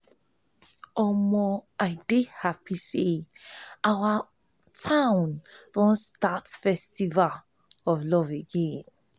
i dey happy say our town don start festival of love again